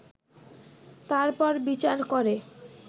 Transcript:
তারপর বিচার করে